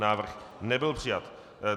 Návrh nebyl přijat.